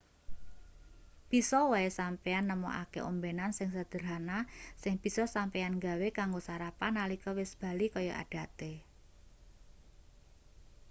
bisa wae sampeyan nemokake ombenan sing sederhana sing bisa sampeyan gawe kanggo sarapan nalika wis bali kaya adate